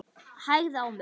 Hægði á mér.